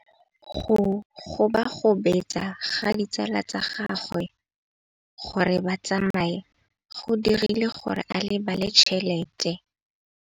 Go gobagobetsa ga ditsala tsa gagwe, gore ba tsamaye go dirile gore a lebale tšhelete.